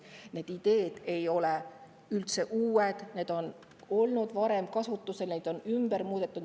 Need ideed ei ole üldse uued, need on olnud varem kasutusel, neid on muudetud.